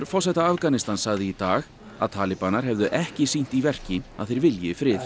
forseta Afganistans sagði í dag að hefðu ekki sýnt í verki að þeir vilji frið